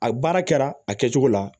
A baara kɛra a kɛcogo la